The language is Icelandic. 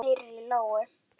Hún heyrir í lóu.